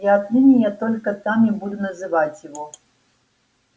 и отныне я только так и буду называть его